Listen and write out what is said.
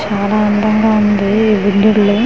చాలా అందంగా ఉంది ఈ లో .]